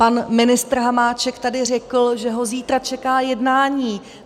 Pan ministr Hamáček tady řekl, že ho zítra čeká jednání.